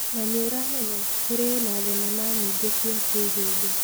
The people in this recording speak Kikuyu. Na nĩ ũramenya, kũrĩ na thenema nyingĩ cia kĩhĩndĩ.